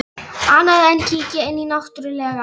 Annað en að kíkja inn náttúrlega.